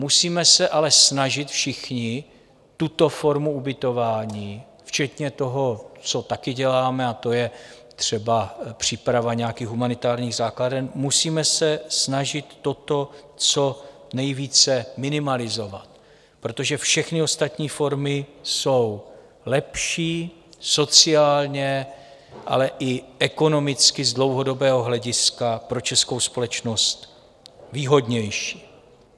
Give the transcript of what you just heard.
Musíme se ale snažit všichni tuto formu ubytování - včetně toho, co taky děláme, a to je třeba příprava nějakých humanitárních základen - musíme se snažit toto co nejvíce minimalizovat, protože všechny ostatní formy jsou lepší, sociálně, ale i ekonomicky, z dlouhodobého hlediska pro českou společnost výhodnější.